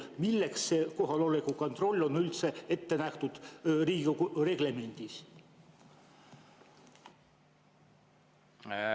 Milleks see kohaloleku kontroll on üldse ette nähtud Riigikogu reglemendis?